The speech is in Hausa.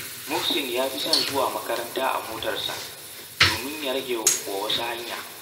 Muhsin ya fi son zuwa makaranta a motarsa, domin ya rage wa wasu hanya